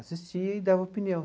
Assistia e dava opinião.